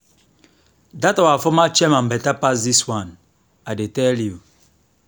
dat our former chairman beta pass dis one i dey tell you